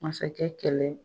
Masakɛ kɛlɛ